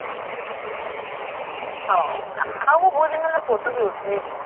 ହଁ ଆଉ ମୁଁ ବହୁଦିନ ହେଲା photo ବି ଉଠେଇନି